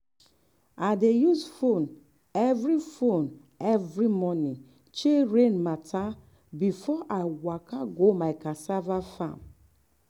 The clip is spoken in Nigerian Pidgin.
i dey use phone every phone every morning check rain matter before i waka go my cassava farm.